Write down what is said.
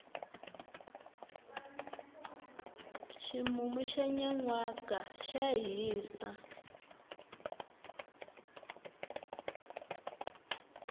ximumu xa nyanwaka xa hisa